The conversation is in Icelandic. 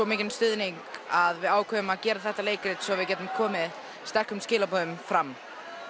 mikinn stuðning að við ákváðum að gera þetta leikrit svo við gætum komið sterkum skilaboðum fram